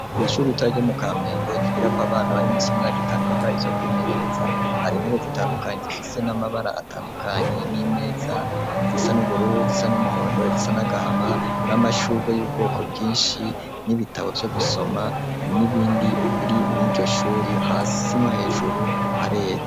Kw' ishuri ritoya ryomu Kampenge gikira ko abana bari munsi imyaka itanu biga icyo kwimenyereza hari intere zitandukanye zifise n'amabara atandukanye n'imeza izisa n'ubururu zisa n'umuhondo zisa nagahama n'amashurge y'ubwoko bwinshi n'ibitabo byo gusoma n'ibindi biri murijyoshuri hasi no hejuru harera.